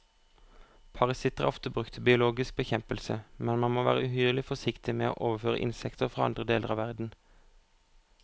Parasitter er ofte brukt til biologisk bekjempelse, men man må være uhyre forsiktig med å overføre insekter fra andre deler av verden.